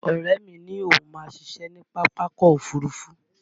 Ọ̀rẹ́ mi ní òun máa ṣiṣẹ́ ní Pápákọ̀ Òfurufú